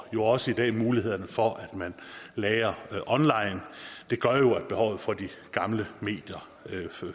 jo også i dag er mulighederne for at lagre online det gør jo at behovet for de gamle medier